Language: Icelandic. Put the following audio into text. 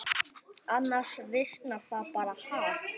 Annars visnar það bara, ha.